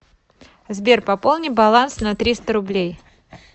сбер пополни баланс на триста рублей